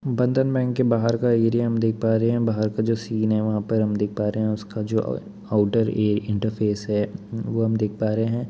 बंधन बैंक के बाहर का एरिया हम देख पा रहे हैं बाहर का जो सीन है वहाँ पर हम देख पा रहें हैं उसका जो अ आउटर ऐ इंटरफ़ेस है वो हम देख पा रहें हैं।